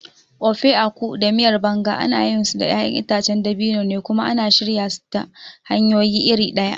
Ofe Akwu da Miyar Banga ana yinsu da ƴaƴan itacen dabino ne kuma ana shirya su ta hanyoyi iri ɗaya.